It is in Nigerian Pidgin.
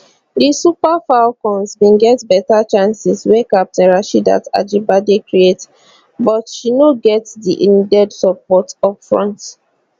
di super falcons bin get beta chances wey captain rasheedat ajibade create but she no get di needed support upfront